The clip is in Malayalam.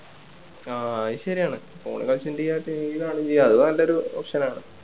ആ അത് ശെരിയാണ് phone കളിച്ചോണ്ടിരിക്കാം TV കാണുകേം ചെയ്യാം അത് നല്ലൊരു option ആണ്